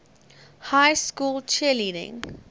high school cheerleading